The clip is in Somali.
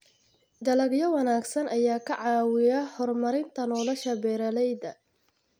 Dalagyo wanaagsan ayaa ka caawiya horumarinta nolosha beeralayda.